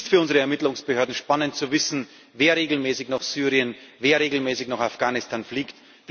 Es ist für unsere Ermittlungsbehörden spannend zu wissen, wer regelmäßig nach Syrien, wer regelmäßig nach Afghanistan fliegt.